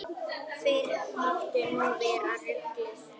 Fyrr mátti nú vera ruglið!